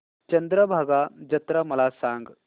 चंद्रभागा जत्रा मला सांग